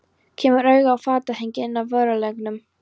Kemur auga á fatahengi inn af vörulagernum.